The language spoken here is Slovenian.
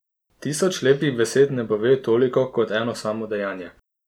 Tisoč lepih besed ne pove toliko kot eno samo dejanje.